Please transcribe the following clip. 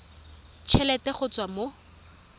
t helete go tswa mo